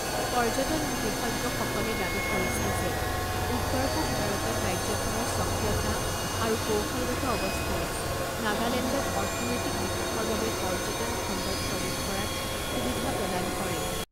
পৰ্যটন বিশেষজ্ঞসকলে দাবী কৰিছে যে উত্তৰ পূব ভাৰতত ৰাজ্যখনৰ স্বকীয়তা আৰু কৌশলগত অৱস্থানে নাগালেণ্ডক অৰ্থনৈতিক বিকাশৰ বাবে পৰ্যটন খণ্ডত প্ৰৱেশ কৰাত সুবিধা প্ৰদান কৰে।